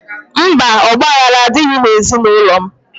Mba, ọgbaghara adịghị n'ezinaụlọ m.